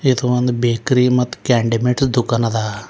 ಇದು ಒಂದು ಬೇಕ್ರಿ ಮತ್ ಕ್ಯಾಂಡಿಮೆಟ್ ದುಕಾನ ಅದ.